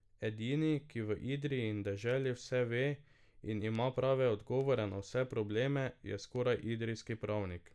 Edini, ki v Idriji in deželi vse ve in ima prave odgovore na vse probleme, je skoraj idrijski pravnik.